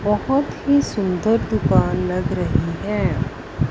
बहुत ही सुंदर दुकान लग रही है।